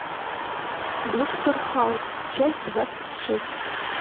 доктор хаус часть двадцать шесть